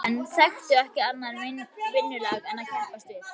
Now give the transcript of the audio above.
Þessir menn þekktu ekki annað vinnulag en að keppast við.